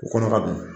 U kɔnɔ ka don